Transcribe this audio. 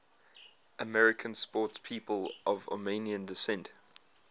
american sportspeople of armenian descent